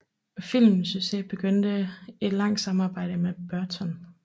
Filmens succes begyndte et langt samarbejde med Burton